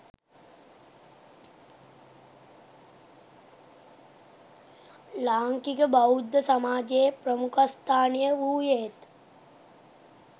ලාංකික බෞද්ධ සමාජයේ ප්‍රමුඛස්ථානය වූයේත්